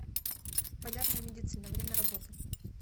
полярная медицина время работы